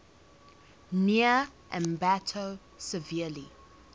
near ambato severely